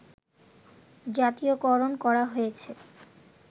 জাতীয়করণ করা হয়েছে